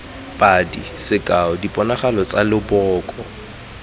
padi sekao diponagalo tsa leboko